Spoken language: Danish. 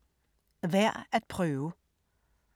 Værd at prøve